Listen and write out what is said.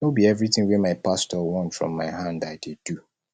no be everytin wey my pastor want from my hand i dey do